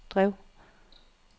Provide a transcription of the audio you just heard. drev